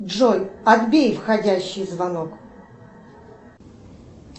джой отбей входящий звонок